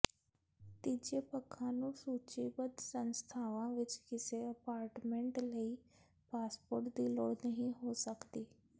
ਤੀਜੇ ਪੱਖਾਂ ਨੂੰ ਸੂਚੀਬੱਧ ਸੰਸਥਾਵਾਂ ਵਿੱਚ ਕਿਸੇ ਅਪਾਰਟਮੈਂਟ ਲਈ ਪਾਸਪੋਰਟ ਦੀ ਲੋੜ ਨਹੀਂ ਹੋ ਸਕਦੀ